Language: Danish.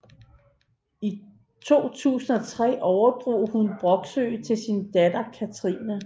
I 2003 overdrog hun Broksø til sin datter Cathrine